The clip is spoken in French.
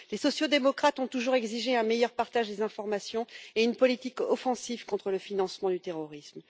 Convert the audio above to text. Les sociaux démocrates ont toujours exigé un meilleur partage des informations et une politique offensive contre le financement du terrorisme.